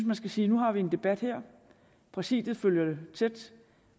man skal sige at nu har vi en debat her præsidiet følger det tæt